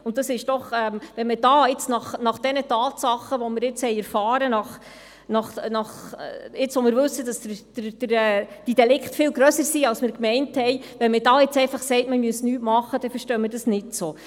Wenn man jetzt, nachdem wir diese Tatsachen kennen, jetzt wo wir wissen, dass diese Delikte viel umfangreicher sind, als wir meinten, sagt, man müsse nichts unternehmen, dann können wir das nicht verstehen.